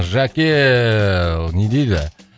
жәке не дейді